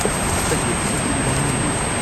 அத்தகைய புதைகுழிதானோ இது?